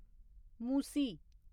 Musi